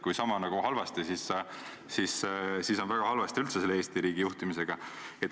Kui niisama halvasti, siis on väga halvasti üldse selle Eesti riigi juhtimisega.